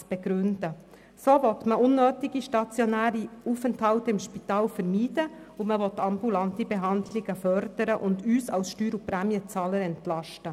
So will man unnötige stationäre Aufenthalte im Spital vermeiden, man will ambulante Behandlungen fördern und uns als Steuer- und Prämien zahlen entlasten.